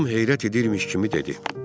Tom heyrət edirmiş kimi dedi: